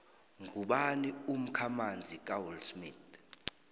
ngubani umkhamanzi kawillsmith